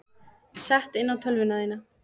Sett inn á tölvuna þína.